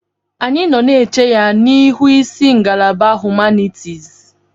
Anyị nọ na-eche ya n'ihu isi ngalaba humanitis.